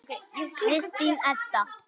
Kristín Edda.